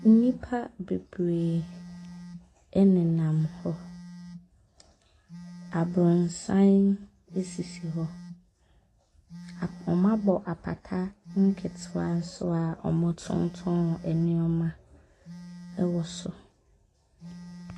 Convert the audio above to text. Nnipa bebree nenam hɔ. Aborosan sisi hɔ. Ap wɔabɔ apata nketewa nso a wɔtontoɔn nneɛma wɔ so.